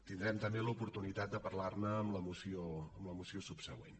tindrem també l’oportunitat de parlar ne en la moció subsegüent